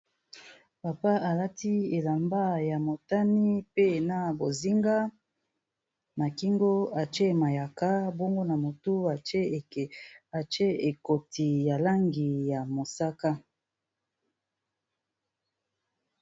Papa alati elamba ya motani, pe na bozinga, na kingo atie mayaka, bongo na motu atie ekoti ya langi ya mosaka.